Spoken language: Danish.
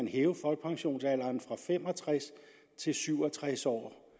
hæve folkepensionsalderen fra fem og tres til syv og tres år